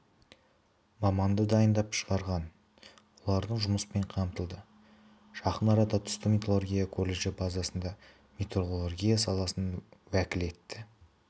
маманды дайындап шығарған олардың жұмыспен қамтылды жақын арада түсті металлургия колледжі базасында металлургия саласының уәкілетті